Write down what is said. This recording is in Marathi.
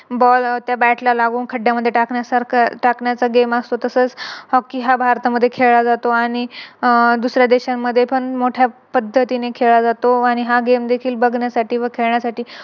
Ball त्या Bat ला लावून खड्ड्यामध्ये टाकण्यासारखं टाकण्याचा Game असतो. तसच Hockey हा भारतामध्ये खेळला जातो आणि अह दुसऱ्या देशामध्ये पण मोठ्या पद्धतीने खेळला जातो आणि हा Game देखील बघण्यासाठी व खेळण्यासाठी